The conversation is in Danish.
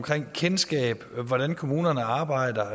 kendskab og om hvordan kommunerne arbejder